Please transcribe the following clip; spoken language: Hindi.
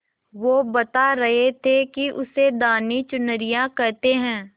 वो बता रहे थे कि उसे धानी चुनरिया कहते हैं